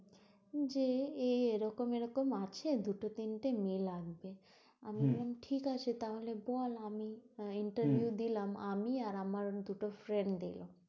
যে এ রকম এরকম আছে দুটো তিনটে মেয়ে লাগবে আমি বললাম ঠিক আছে তাহলে বল আমি, interview তো দিলাম, আমি আর আমার অন্য দুটো friend দিল,